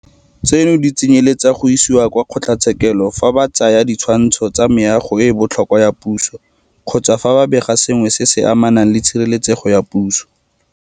Tseno di tsenyeletsa go isiwa kwa kgotlatshekelo fa ba tsaya ditshwantsho tsa Meago e e Botlhokwa ya Puso kgotsa fa ba bega ka sengwe se se amanang le Tshireletsego ya Puso.